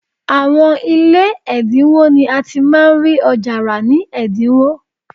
Àwọn ilé ẹ̀dínwó ni a ti máa ń rí ọjà rà ní ẹ̀dínwó